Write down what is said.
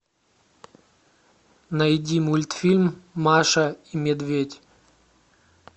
найди мультфильм маша и медведь